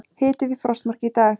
Hiti við frostmark í dag